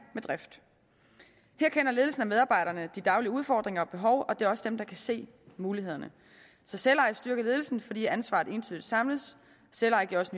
med drift her kender ledelsen og medarbejderne de daglige udfordringer og behov og det er også dem der kan se mulighederne så selveje styrker ledelsen fordi ansvaret entydigt samles selveje giver også